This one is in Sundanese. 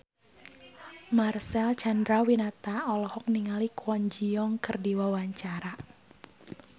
Marcel Chandrawinata olohok ningali Kwon Ji Yong keur diwawancara